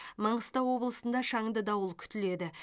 маңғыстау облысында шаңды дауыл күтіледі